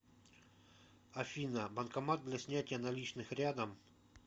афина банкомат для снятия наличных рядом